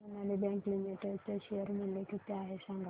आज Sonali bank limited चे share मूल्य किती आहे सांगा